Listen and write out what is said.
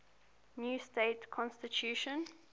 new state constitution